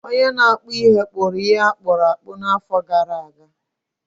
onye na-akpụ ihe akpụrụ akpụ n’afọ gara aga